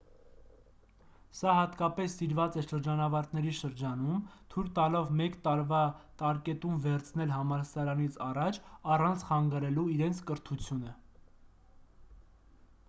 սա հատկապես սիրված է շրջանավարտների շրջանում թույլ տալով մեկ տարվա տարկետում վերցնել համալսարանից առաջ առանց խանգարելու իրենց կրթությունը